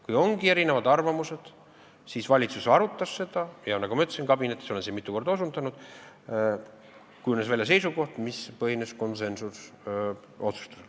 Kui ongi erinevad arvamused, siis valitsus on seda küsimust arutanud ja nagu ma ütlesin, ma olen siin mitu korda osutanud, kabinetis kujunes välja seisukoht, mis põhines konsensusotsustusel.